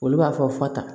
Olu b'a fɔ fa ta